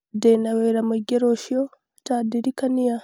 Ndĩna wĩra mũingĩ rũciũ Mombasa ta ndirikania